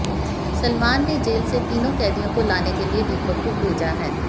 सलमान ने जेल से तीनों कैदियों को लाने के लिए दीपक को भेजा है